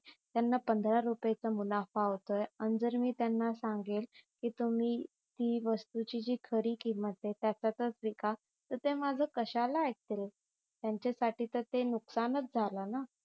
त्यांना पंधरा रुपायचा मुनाफा होतोय अन जर मी त्यांना सांगेल तुम्ही ती वस्तू ची जी खरी किंमताय त्याच्यातच विका तर ते माझे कश्याला आईकतील त्यांच्या साठी ते नुकसानच झाल ना